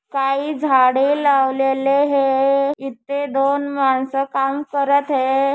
काही झाडे लावलेले हे इथे दोन माणसे काम करत हे.